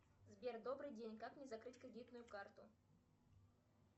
сбер добрый день как мне закрыть кредитную карту